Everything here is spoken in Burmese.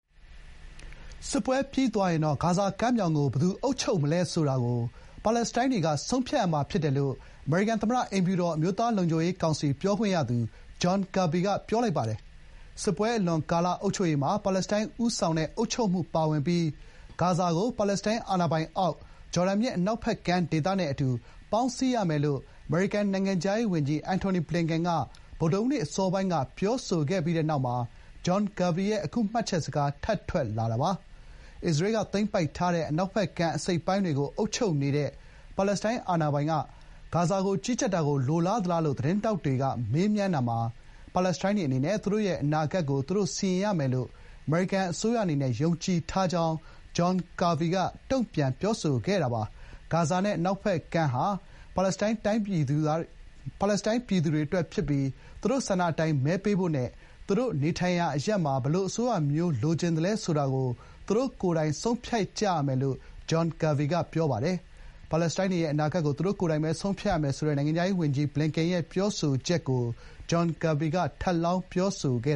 စစ်ပွဲပြီးသွားရင်တော့ ဂါဇာကမ်းမြောင်ကို ဘယ်သူအုပ်ချုပ်မလဲဆိုတာကို ပါလက်စတိုင်းတွေက ဆုံးဖြတ်ရမှာဖြစ်တယ်လို့ အမေရိကန်သမ္မတအိမ်ဖြူတော် အမျိုးသားလုံခြုံရေးကောင်စီ ပြောခွင့်ရသူ John Kirby က ပြောပါတယ်။ စစ်ပွဲအလွန်ကာလ အုပ်ချုပ်ရေးမှာ ပါလက်စတိုင်းဦးဆောင်တဲ့အုပ်ချုပ်မှုပါဝင်ပြီး ဂါဇာကို ပါလက်စတိုင်းအာဏာပိုင်အောက် ဂျော်ဒန်မြစ်အနောက်ဘက်ကမ်းဒေသနဲ့ ပေါင်းစည်းရမယ်လို့ အမေရိကန်နိုင်ငံခြားရေးဝန်ကြီး Antony Blinken က ဗုဒ္ဓဟူးနေ့ အစောပိုင်းက ပြောဆိုခဲ့တဲ့နောက်၊John Kirby ရဲ့ အခု မှတ်ချက်စကား ထပ်ထွက်ပေါ်လာတာပါ။ အစ္စရေးကသိမ်းပိုက်ထားတဲ့ အနောက်ဖက်ကမ်းအစိတ်အပိုင်းတွေကို အုပ်ချုပ်နေတဲ့ ပါလက်စတိုင်းအာဏာပိုင်က ဂါဇာကို ကြီးကြပ်တာကို လိုလားသလားလို့ သတင်းထောက်တွေက မေးမြန်းတာမှာ ပါလက်စတိုင်းတွေအနေနဲ့ သူတို့အနာဂတ်ကို သူတို့စီရင်ရမယ်လို့ အမေရိကန်အစိုးရအနေနဲ့ ယုံကြည်တဲ့အကြောင်း John Kirby က တုန့်ပြန်ခဲ့ပါတယ်။ ဂါဇာနဲ့ အနောက်ဖက်ကမ်းဟာ ပါလက်စတိုင်းပြည်သူတွေအတွက်ဖြစ်ပြီး သူတို့ဆန္ဒအတိုင်း မဲပေးဖို့နဲ့ သူတို့နေထိုင်ရာအရပ်မှာ ဘယ်လိုအစိုးရမျိုးလိုချင်လဲဆိုတာကို သူတို့ကိုယ်တိုင် ဆုံးဖြတ်ကြရမှာဖြစ်တယ်လို့ John Kirby က ပြောပါတယ်။ ပါလက်စတိုင်းတွေရဲ့ အနာဂတ်ကို သူတို့ကိုယ်တိုင်ပဲ ဆုံးဖြတ်ရမယ်ဆိုတဲ့ နိုင်ငံခြားရေးဝန်ကြီး Blinken ရဲ့ ပြောဆိုချက်ကို John Kirby က ထပ်လောင်း ပြောဆိုခဲ့